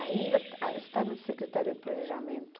Ainda ah está na Secretaria do Planejamento.